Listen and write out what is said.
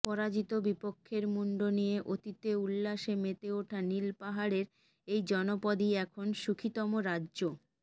পরাজিত বিপক্ষের মুণ্ড নিয়ে অতীতে উল্লাসে মেতে ওঠা নীলপাহাড়ের এই জনপদই এখন সুখীতম রাজ্য